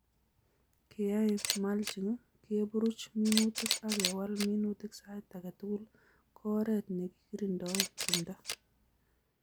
Keai mulching, keburuch minutik ak kewal minutik sait age tugul ko oret nekikirindoe timdo